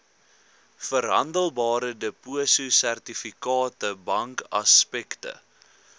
verhandelbare depositosertifikate bankaksepte